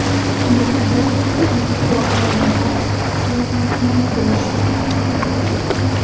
Ular bu muhim voqeaning barcha tafsilotlarini bilishga haqli.